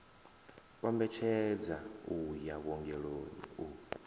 kombetshedza u ya vhuongeloni u